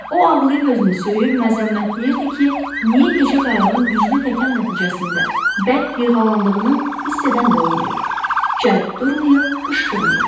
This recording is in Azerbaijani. O ağlayıb özünü söyür, məzəmmətləyirdi ki, niyə gecə qayığın güclü təkan nəticəsində bərk yırğalandığını hiss edən də olmayıb, cəld durmayıb, qışqırmayıb.